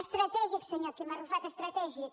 estratègic senyor quim arrufat estratègic